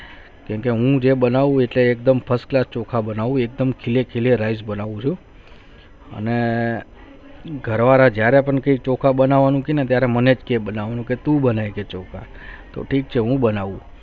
હું જે બનવું જે એકદમ first class ચોખા બનવું એકદમ ખીલે ખીલે rice બનવું છું અને ઘરવાલે જયારે પણ ચોખા બનવું ના તે મને કે મને તું બનાયી છે ચોખા તો ઠીક છે હું બનવું